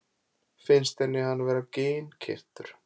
Finnst henni hann vera ginnkeyptur?